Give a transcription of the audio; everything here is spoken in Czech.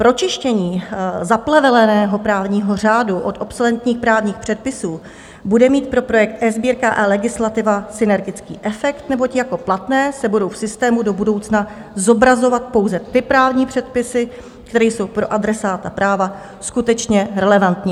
Pročištění zapleveleného právního řádu od obsoletních právních předpisů bude mít pro projekt eSbírka a eLegislativa synergický efekt, neboť jako platné se budou v systému do budoucna zobrazovat pouze ty právní předpisy, které jsou pro adresáta práva skutečně relevantní.